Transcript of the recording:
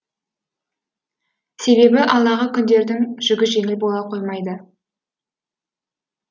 себебі алдағы күндердің жүгі жеңіл бола қоймайды